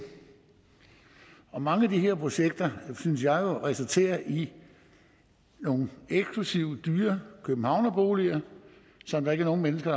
mange af de her projekter synes jeg jo resulterer i nogle eksklusive dyre københavnerboliger som der ikke nogen mennesker